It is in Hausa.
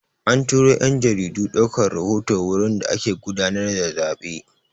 An turo 'yan jaridu ɗaukar rahoto wurin da ake gudanar da zaɓe.